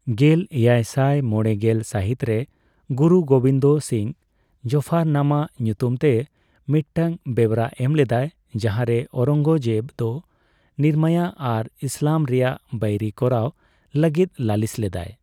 ᱜᱮᱞ ᱮᱭᱟᱭ ᱥᱟᱭ ᱢᱚᱲᱮ ᱥᱟᱹᱦᱤᱛ ᱨᱮ ᱜᱩᱨᱩ ᱜᱳᱵᱤᱱᱫᱚ ᱥᱤᱝ ᱡᱟᱯᱷᱚᱨᱱᱟᱢᱟ ᱧᱩᱛᱩᱢ ᱛᱮ ᱢᱤᱫᱴᱟᱝ ᱵᱮᱣᱨᱟ ᱮᱢ ᱞᱮᱫᱟᱭ, ᱡᱟᱦᱟᱸᱨᱮ ᱚᱣᱨᱚᱝᱜᱚᱡᱮᱵ ᱫᱚ ᱱᱤᱨᱢᱟᱭᱟ ᱟᱨ ᱤᱥᱞᱟᱢ ᱨᱮᱭᱟᱜ ᱵᱟᱹᱭᱨᱤ ᱠᱚᱨᱟᱣ ᱞᱟᱹᱜᱤᱫ ᱞᱟᱹᱞᱤᱥ ᱞᱮᱫᱟᱭ ᱾